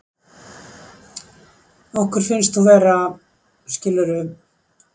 Okkur finnst þú vera, skilurðu.